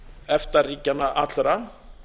efta ríkjanna allra